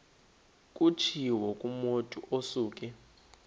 kutshiwo kumotu osuke